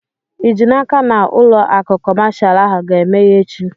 Ị ji n'aka na ụlọ akụ kọmashal ahụ ga-emeghe echi?